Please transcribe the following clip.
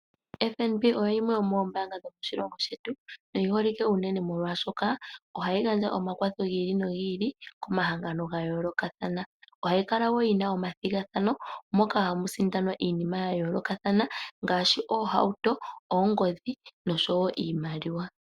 Ombaanga yotango yopashigwana oyo yimwe yomoombanga dho moshilongo shetu, na oyiholike unene molwaashoka, ohayi gandja omakwatho gi ili nogi ili, komahangano gayoolokathana. Ohayi kala wo yina omathigathano, moka hamu sindanwa iinima ya yoolokathana, ngaashi oohauto, oongodhi, noshowo iimaliwa.